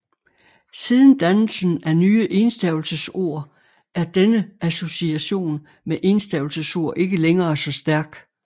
Siden dannelsen af nye enstavelsesord er denne association med enstavelsesord ikke længere så stærk